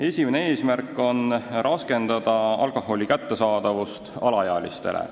Esimene eesmärk on raskendada alkoholi kättesaadavust alaealistele.